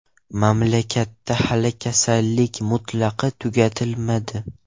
Mamlakatda hali kasallik mutlaq tugatilmadi.